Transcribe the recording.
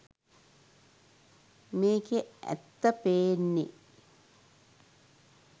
මේකෙ ඇත්ත පේන්නෙ.